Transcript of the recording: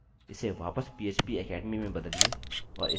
refresh करें और हम सफलतापूर्वक जुड़ गये